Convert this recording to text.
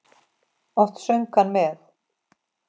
Oft söng hann með.